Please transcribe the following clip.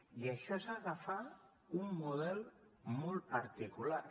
i això és agafar un model molt particular